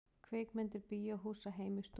Kvikmyndir bíóhúsa heim í stofu